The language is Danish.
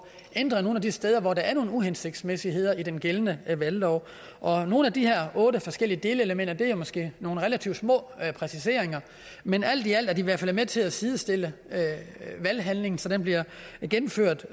ændret nogle af de steder hvor der er nogle uhensigtsmæssigheder i den gældende valglov og nogle af de her otte forskellige delelementer er måske nogle relativt små præciseringer men alt i alt er de i hvert fald med til at sidestille valghandlingen så den bliver gennemført